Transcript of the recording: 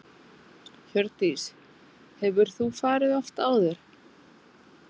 Hjördís: Hefur þú farið oft áður?